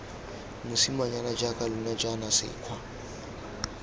mosimanyana jaaka lona jaana sekgwa